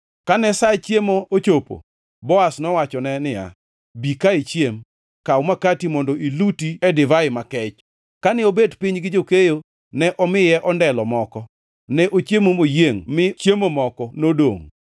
Kane sa chiemo ochopo, Boaz nowachone niya, “Bi ka ichiem. Kaw makati mondo iluti e divai makech.” Kane obet piny gi jokeyo, ne omiye ondelo moko. Ne ochiemo moyiengʼ mi chiemo moko nodongʼ.